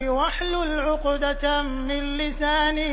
وَاحْلُلْ عُقْدَةً مِّن لِّسَانِي